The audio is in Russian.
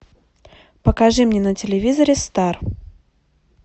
покажи мне на телевизоре стар